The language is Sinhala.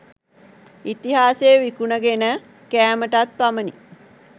ඉතිහාසය විකුණගෙන කෑමටත් පමණි.